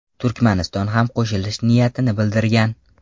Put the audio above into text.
Turkmaniston ham qo‘shilish niyatini bildirgan.